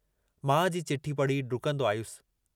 माउ जी चिठ्ठी पढ़ी ढुकन्दो आयुस।